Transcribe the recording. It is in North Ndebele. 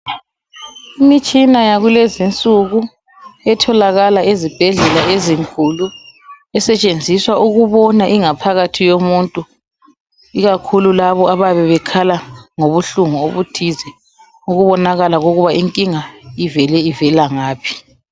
Imitshina yakulezinsuku etholakala ezibhedlela ezinkulu, esetshenziswa ukubona ingaphakathi yomuntu. Ikakhulu labo ababe bekhala ngobuhlungu obuthize ukubonakala ukuba inkinga ivele ivelangaphi.